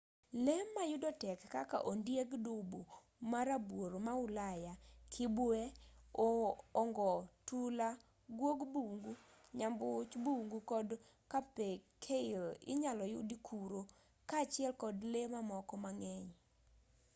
lee ma yudo tek kaka ondieg dubu ma rabuor ma ulaya kibwee ongo tula guog bungu nyambuch bungu kod capercaille inyalo yudi kuro kaachiel kod lee mamoko mang'eny